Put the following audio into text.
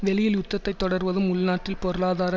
வெளியில் உத்தத்தை தொடர்வதும் உள்நாட்டின் பொருளாதார